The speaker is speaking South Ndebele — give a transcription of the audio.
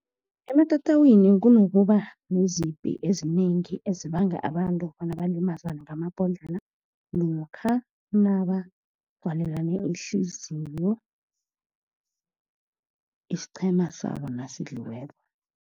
Ematatawini kunokuba neziphi ezinengi, ezibanga abantu bona balimazane ngamabhodlelo, namkha nabagqwalelane ihliziyo, isiqhema sabo nasidliweko.